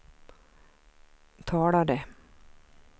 talade